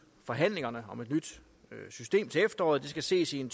forhandlingerne om et nyt system indtil efteråret det skal ses i en